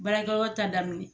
Barakɛyɔrɔ ta daminɛ